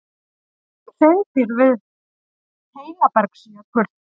Hreindýr við Heinabergsjökul.